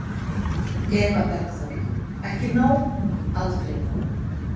Eva Bergþóra: Ekki nóg, aldrei nóg?